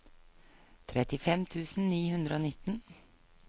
trettifem tusen ni hundre og nitten